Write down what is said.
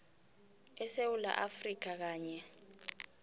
esewula afrika kanye